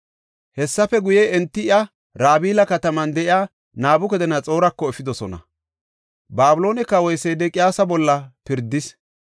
Hessafe guye, enti iya Rabila kataman de7iya Nabukadanaxoorako efidosona. Babiloone kawoy Sedeqiyaasa bolla pirdis.